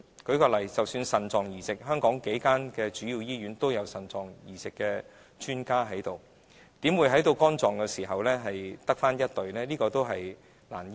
舉例而言，香港數間主要醫院均有腎臟移植的專家，那為何在肝臟移植方面只有1隊醫療人員呢？